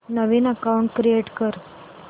नवीन account create कर